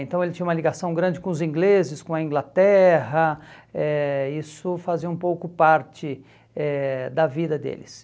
Então ele tinha uma ligação grande com os ingleses, com a Inglaterra, eh isso fazia um pouco parte eh da vida deles.